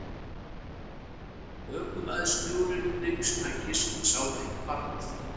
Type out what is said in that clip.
Ökumaður snjóruðningstækisins sá ekki barnið